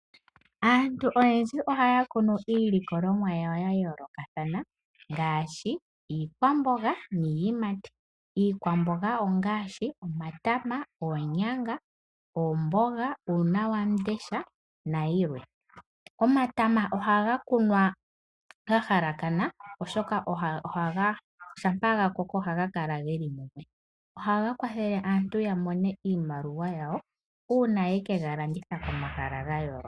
Aantu oyendji ohaya kunu iilikolomwa yawo ya yoolokathana ngaashi iikwamboga niiyimati. Iikwamboga ongaashi: omatama, oonyanga, oomboga, uunawandesha nayilwe. Omatama ohaga kunwa ga halakana, oshoka shampa ga koko ohaga kala ge li mumwe. Ohaga kwathele aantu okumona iimaliwa yawo uuna ye ke ga landitha komahala ga yooloka.